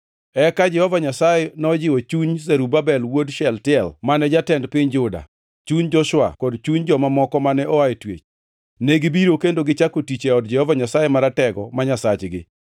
Eka Jehova Nyasaye nojiwo chuny Zerubabel wuod Shealtiel mane jatend piny Juda, chuny Joshua, kod chuny joma moko mane oa e twech. Negibiro kendo gichako tich e od Jehova Nyasaye Maratego ma Nyasachgi,